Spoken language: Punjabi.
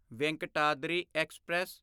ਵੇਂਕਟਾਦਰੀ ਐਕਸਪ੍ਰੈਸ